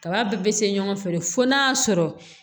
Kaba bɛɛ bɛ se ɲɔgɔn fɛ fo n'a sɔrɔ